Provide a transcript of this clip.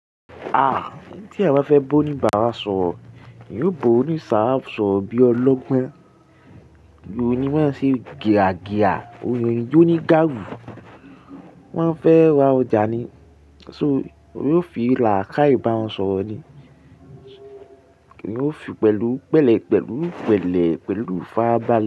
Tí èèyàn bá fẹ́ bá ó ní bàrà ṣọ̀ọ́, yóò bo òní sàrà ṣọ̀rọ́ bí ọlọ́gbọ́n. Bí òní wọn ṣe gẹràgẹà, oyin tí ó ní gáàrù, wọ́n fẹ́ wa ọjà ni, ṣó yóò fi làákàì bá wọn ṣọ̀ọ́ ni. Kíni ó fi pẹ̀lú, pẹ̀lẹ́, pẹ̀lú pẹ̀lẹ́, pẹ̀lú fáábàle.